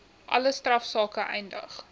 alle strafsake eindig